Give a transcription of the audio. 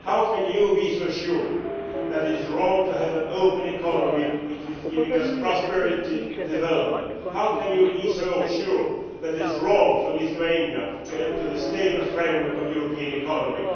How can you be so sure that it is wrong to have an open economy which is giving prosperity and development? How can you be so sure that it is wrong for Lithuania to enter the stable framework of the European economy?